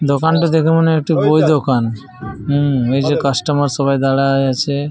দোকানটো দেখা মনে হয় বই দোকান। হম এইযে কাস্টমার্ সব দাঁড়ায় আছে।